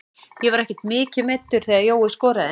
Ég var ekkert mikið meiddur þegar Jói skoraði.